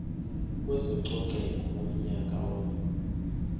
kwezococeko ngonyaka wama